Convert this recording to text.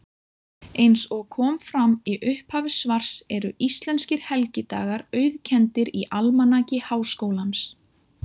Eins og fram kom í upphafi svars eru íslenskir helgidagar auðkenndir í Almanaki Háskólans.